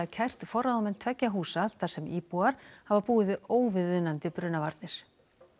kært forráðamenn tveggja húsa þar sem íbúar hafa búið við óviðunandi brunavarnir